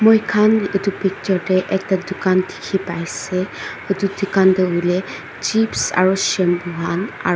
moikhan edu picture tae ekta dukan dikhipaiase edu dukan tu hoilae chips aru shampoo han aru--